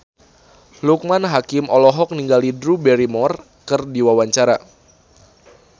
Loekman Hakim olohok ningali Drew Barrymore keur diwawancara